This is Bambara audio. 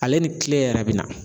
Ale ni kile yɛrɛ bɛ na.